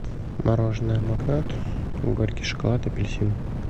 мороженое магнат горький шоколад апельсин